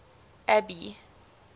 abby